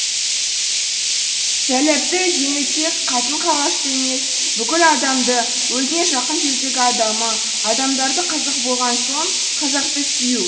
жәләпті жеңілтек қатын қалашты емес бүкіл адамды өзіне жақын жердегі адамы адамдары қазақ болған соң қазақты сүю